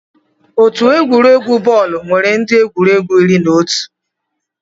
Otu egwuregwu bọọlụ nwere ndị egwuregwu iri na otu.